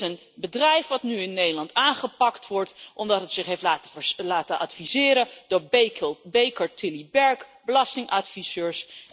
Er is een bedrijf dat nu in Nederland aangepakt wordt omdat het zich heeft laten adviseren door Baker Tilly Berk belastingadviseurs.